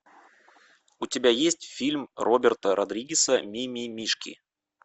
у тебя есть фильм роберта родригеса мимимишки